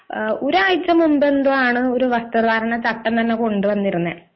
ഒരു ഒരാഴ്ച മുമ്പ് എന്തോ ആണ് ഒരു വസ്ത്ര ധാരണ ചട്ടം തന്നെ കൊണ്ടുവന്നത്